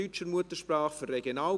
Damit unterbreche ich die Session.